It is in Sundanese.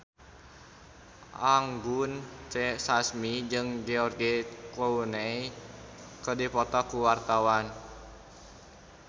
Anggun C. Sasmi jeung George Clooney keur dipoto ku wartawan